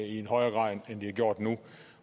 i højere grad end det er gjort nu